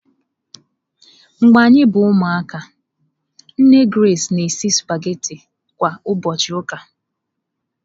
Mgbe anyị bụ ụmụaka, nne Grace na-esi sụpaghetị kwa ụbọchị ụka.